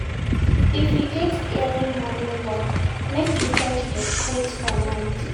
If you get early morning work, make you try dey quiet for night.